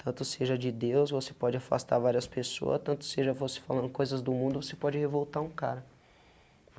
Tanto seja de Deus, você pode afastar várias pessoas, tanto seja você falando coisas do mundo, você pode revoltar um cara.